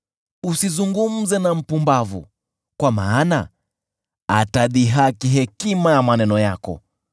Usizungumze na mpumbavu, kwa maana atadhihaki hekima ya maneno yako.